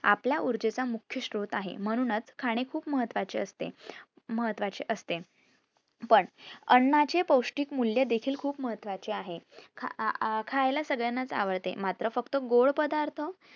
आपल्या ऊर्जेचा मुख्य श्रोत आहे. म्हणूनच खाणे खूप महत्वाचे असते महत्वाचे असते पण अन्नचे पौष्टिक मूल्य देखील खूप महत्वाचे आहे. खा अं अं खायला सगळ्यांना आवडते, मात्र फक्त गोड पदार्थ